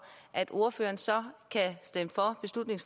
at ordføreren så